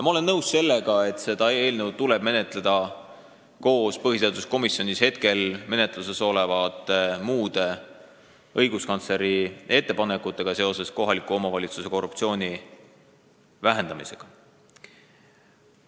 Ma olen nõus sellega, et seda eelnõu tuleb menetleda koos põhiseaduskomisjonis hetkel menetluses olevate muude õiguskantsleri ettepanekutega korruptsiooni vähendamise kohta kohalikes omavalitsustes.